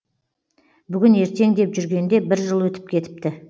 бүгін ертең деп жүргенде бір жыл өтіп кетіпті